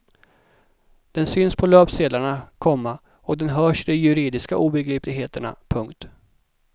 Den syns på löpsedlarna, komma och den hörs i de juridiska obegripligheterna. punkt